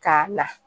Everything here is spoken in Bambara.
K'a la